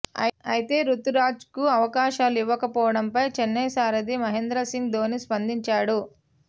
అయితే రుతురాజ్కు అవకాశాలు ఇవ్వకపోవడంపై చెన్నై సారథి మహేంద్ర సింగ్ ధోనీ స్పందించాడు